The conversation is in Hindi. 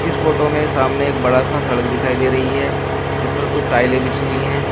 इस फोटो में सामने एक बड़ा सा सड़क दिखाई दे रही है जिस पर कुछ टाइले बिछी हुई है।